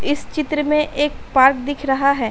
इस चित्र में एक पार्क दिख रहा है।